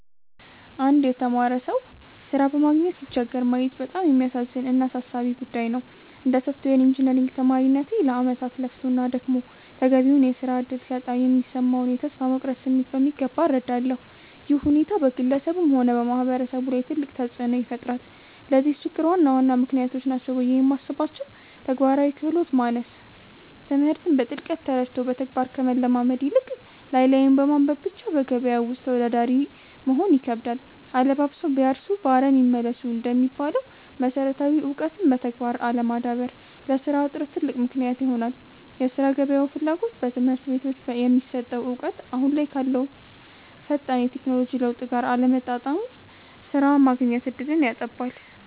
አንድ የተማረ ሰው ሥራ በማግኘት ሲቸገር ማየት በጣም የሚያሳዝን እና አሳሳቢ ጉዳይ ነው። እንደ ሶፍትዌር ኢንጂነሪንግ ተማሪነቴ፣ ለዓመታት ለፍቶና ደክሞ ተገቢውን የሥራ ዕድል ሲያጣ የሚሰማውን የተስፋ መቁረጥ ስሜት በሚገባ እረዳለሁ። ይህ ሁኔታ በግለሰቡም ሆነ በማህበረሰቡ ላይ ትልቅ ተጽዕኖ ይፈጥራል። ለዚህ ችግር ዋና ዋና ምክንያቶች ናቸው ብዬ የማስባቸው፦ ተግባራዊ ክህሎት ማነስ፦ ትምህርትን በጥልቀት ተረድቶ በተግባር ከመለማመድ ይልቅ፣ ላይ ላዩን በማንበብ ብቻ በገበያው ውስጥ ተወዳዳሪ መሆን ይከብዳል። 'አለባብሰው ቢያርሱ በአረም ይመለሱ' እንደሚባለው፣ መሰረታዊ እውቀትን በተግባር አለማዳበር ለሥራ እጥረት ትልቅ ምክንያት ይሆናል የሥራ ገበያው ፍላጎት፦ በትምህርት ቤቶች የሚሰጠው እውቀት አሁን ካለው ፈጣን የቴክኖሎጂ ለውጥ ጋር አለመጣጣሙ ሥራ የማግኘት ዕድልን ያጠባል።